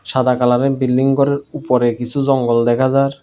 সাদা কালারের বিল্ডিং ঘরের উপরে কিছু জঙ্গল দেখা যার ।